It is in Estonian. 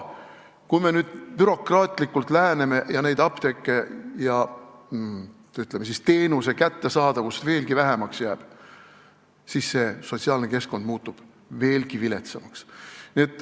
Kui me nüüd bürokraatlikult läheneme, nii et neid apteeke ja, ütleme, teenuse kättesaadavust vähemaks jääb, siis see sotsiaalne keskkond muutub veelgi viletsamaks.